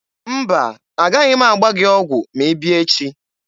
Mba, a gaghị m agba gị ọgwụ ma ị bịa echi.